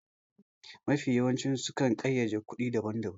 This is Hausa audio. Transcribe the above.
Mafiya yawanci su kan ƙayyade kuɗi daban daban